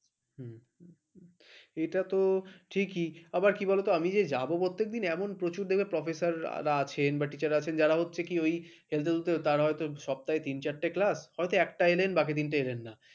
হু হম এটাতো ঠিকই আবার কি বলতো, আমি যে যাব এমন প্রচুর দেখে professor আছেন বা teacher আছেন যারা হচ্ছে কি ওই হেলতে দুলতে সপ্তাহে তিন চারটা class । হয়তো একটা এলেন বাকি দিন এলেন না ।